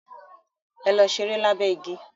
Ẹ̀lò sẹ̀rẹ̀ lábé igi.